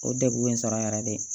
O degun in sɔrɔ a yɛrɛ de